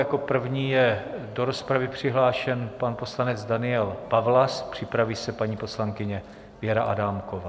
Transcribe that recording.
Jako první je do rozpravy přihlášen pan poslanec Daniel Pawlas, připraví se paní poslankyně Věra Adámková.